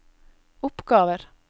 oppgaver